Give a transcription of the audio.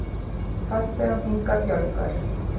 Farþegum hingað fjölgar